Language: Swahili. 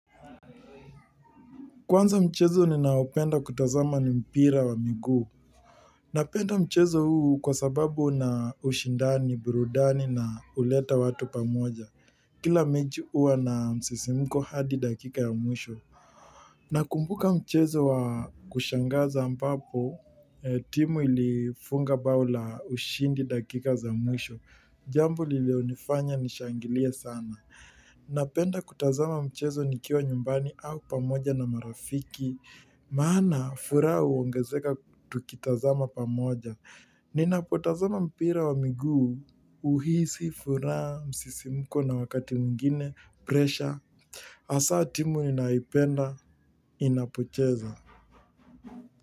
Kwanza mchezo ninaopenda kutazama ni mpira wa miguu. Napenda mchezo huu kwa sababu una ushindani, burudani na huleta watu pamoja. Kila mechi huwa na msisimko hadi dakika ya mwisho. Nakumbuka mchezo wa kushangaza ambapo, timu ilifunga bao la ushindi dakika za mwisho. Jambo lililonifanya nishangilie sana. Napenda kutazama mchezo nikiwa nyumbani au pamoja na marafiki. Maana, furaha huongezeka tukitazama pamoja. Ninapotazama mpira wa miguu, huhisi, furaha, msisimko na wakati mwingine, pressure. Hasa timu ninayoipenda, inapocheza.